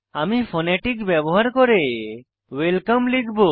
আমি ফোনেটিক ব্যবহার করে ওয়েলকাম লিখব